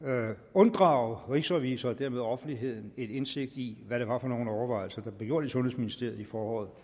unddrage rigsrevisor og dermed offentligheden indsigt i hvad det var for nogle overvejelser der blev gjort i sundhedsministeriet i foråret